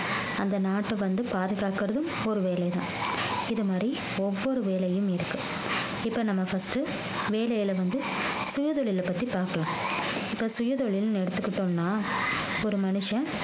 அந்த நாட்டை வந்து பாதுகாக்கிறதும் ஒரு வேலைதான் இது மாறி ஒவ்வொரு வேலையும் இருக்கு இப்ப நம்ம first வேலைல வந்து சுயதொழிலை பத்தி பாக்கலாம் இப்ப சுயதொழில்ன்னு எடுத்துக்கிட்டோம்ன்னா ஒரு மனுஷன்